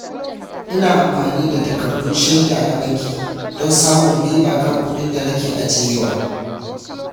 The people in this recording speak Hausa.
Ina amfani da takardun shaida na banki don samun riba kan kuɗin da nake ajiyewa.